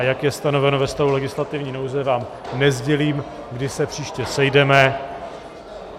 A jak se stanoveno ve stavu legislativní nouze, vám nesdělím, kdy se příště sejdeme.